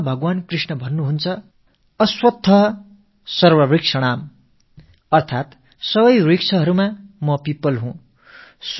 கீதையில் பகவான் கிருஷ்ணர் அச்வத்த ஸர்வவ்ருக்ஷாணாம் அதாவது மரங்களில் நான் அரசமரம் என்கிறார்